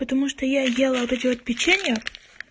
потому что я ела вот эти вот печенья